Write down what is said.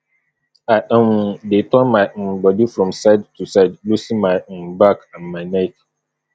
i um dey turn my um bodi from side to side loosen my um back and my neck